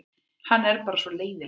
Hann er bara svona leiðinlegur.